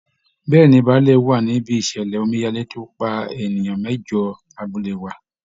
Bẹ́ẹ̀ ni, bàálẹ̀ wà níbí ìṣẹ̀lẹ̀ omíyalé tó pa èèyan mẹ́jọ lábúlé wa